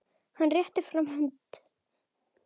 Hann réttir fram hönd.